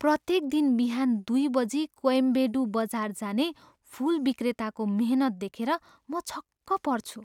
प्रत्येक दिन बिहान दुई बजी कोयम्बेडू बजार जाने फुल विक्रेताको मेहनत देखेर म छक्क पर्छु।